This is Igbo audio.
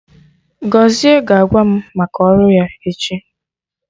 Gọzie ga-agwa mụ maka ọrụ ya echi